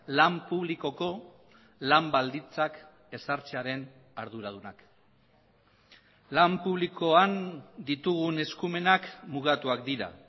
lan publikoko lan baldintzak ezartzearen arduradunak lan publikoan ditugun eskumenak mugatuak dira